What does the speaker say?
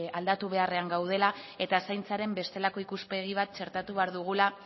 aldatu beharrean gaudela eta zaintzaren bestelako ikuspegi bat txertatu behar dugula